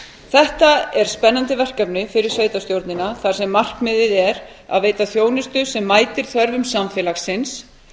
þetta er spennandi verkefni fyrir sveitarstjórnina þar sem markmiðið er að veita þjónustu sem mætir þörfum samfélagsins